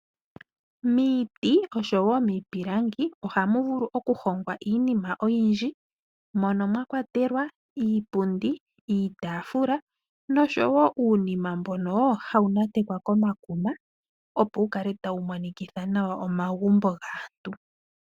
Miiti osho wo miipilangi oha mu vulu okuhongwa iinima oyindji, mono mwa kwatelwa iipundi, iitaafula osho wo uunima mbono hau natekwa komakuma opo wu kale tau monikitha nawa omagumbo gaantu.